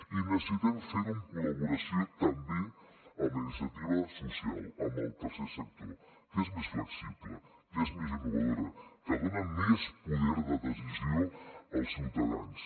i necessitem fer ho en col·laboració també amb la iniciativa social amb el tercer sector que és més flexible que és més innovador que dona més poder de decisió als ciutadans